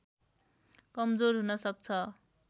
कमजोर हुन सक्छ